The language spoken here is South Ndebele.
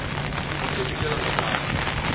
yokuthengisela ngaphandle